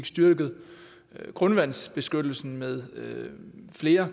styrket grundvandsbeskyttelsen med flere